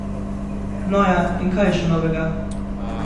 No ja, in kaj je še novega?